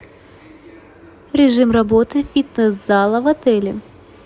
режим работы фитнес зала в отеле